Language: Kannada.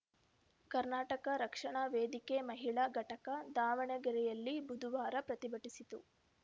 ಕರ್ನಾಟಕ ರಕ್ಷಣಾ ವೇದಿಕೆ ಮಹಿಳಾ ಘಟಕ ದಾವಣಗೆರೆಯಲ್ಲಿ ಬುಧುವಾರ ಪ್ರತಿಭಟಿಸಿತು